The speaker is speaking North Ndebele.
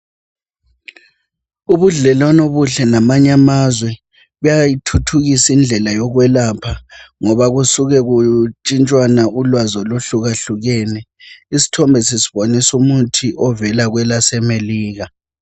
Ubudlelwane obuhle lamanye amazwe buyayithuthukisa indlela yokwelapha ngoba kusuke kutshintshwana ulwazi olwahlukahlukene. Isthombe sisibonisa umuthi ovela kwelaseMelika.